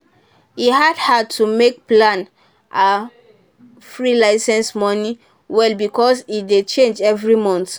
e hard her to make plan her free licence money well because e dey change every month.